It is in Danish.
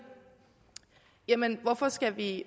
jamen hvorfor skal vi